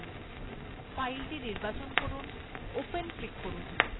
file নির্বাচন করুন সেটিতে click করুন